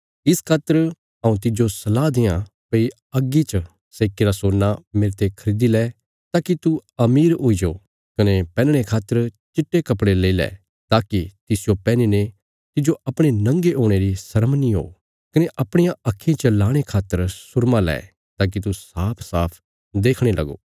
इस खातर हऊँ तिज्जो सलाह देआं भई अग्गी च सेक्कीरा सोना मेरते खरीदी लै ताकि तू अमीर हुई जाओ कने पैहनणे खातर चिट्टे कपड़े लई लै ताकि तिसजो पैहनीने तिज्जो अपणे नंगे हुणे री शर्म नीं हो कने अपणियां आक्खीं च लाणे खातर सुरमा लैं ताकि तू साफसाफ देखणे लगो